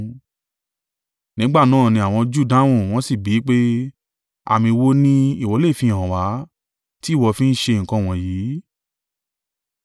Nígbà náà ní àwọn Júù dáhùn, wọ́n sì bi í pé, “Àmì wo ni ìwọ lè fihàn wá, tí ìwọ fi ń ṣe nǹkan wọ̀nyí?”